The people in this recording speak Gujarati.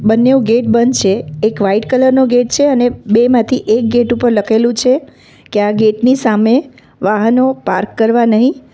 બંનેવ ગેટ બંધ છે એક વાઈટ કલર નો ગેટ છે અને બે માંથી એક ગેટ ઉપર લખેલું છે કે આ ગેટ ની સામે વાહનો પાર્ક કરવા નહીં.